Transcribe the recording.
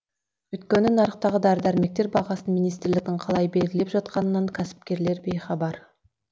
өйткені нарықтағы дәрі дәрмектер бағасын министрліктің қалай белгілеп жатқанынан кәсіпкерлер бейхабар